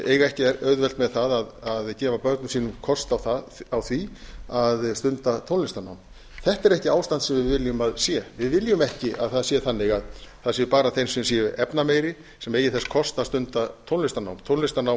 eiga ekki auðvelt með það að gefa börnum sínum kost á því að stunda tónlistarnám þetta er ekki ástand sem við viljum að sé við viljum ekki að það sé þannig að það sé bara þeim sem eru efnameiri sem eigi þess kost að stunda tónlistarnám tónlistarnám